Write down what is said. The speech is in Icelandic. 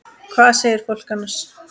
Hvað segir fólk annars?